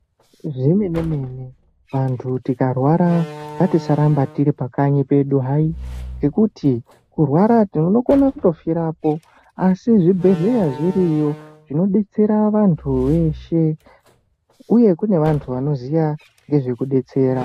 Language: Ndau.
Zvemene mene andu tikarwara ngatisarambe tiri pakanyi pedu hai, ngekuti kurwara unokona kutofirapo asi zvibhehleya zviriyo zvinobetsera andu weshe, uye kune wandu wanoziya nezvekudetsera.